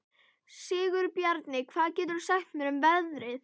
Sigurbjarni, hvað geturðu sagt mér um veðrið?